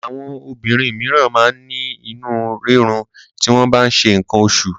Àwọn obìnrin míràn máa ń ní inú rírun ti wọ́n bá ń ṣe nǹkan oṣù.